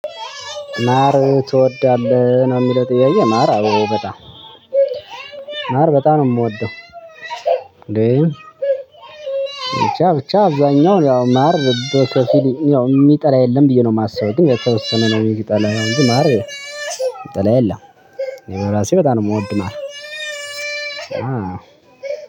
ማር ትወዳለህ ነው የሚለው ጥያዬ? ማር አዎ በጣም ማር በጣም ነው የምወደው። እንዴ ብቻ ብቻ አብዛኛው ያው ማር በከፊል ያው ምጠላ የለም ብዬ ነው የማስበው። ግን የተወሰነ ነው ሚጠላው ያው እንጂ ማር። ምጠላ የለም። እኔ በራሴ በጣም ነው የምወድ ማር።